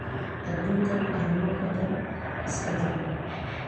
Aduunkan arima badaan iskajiran.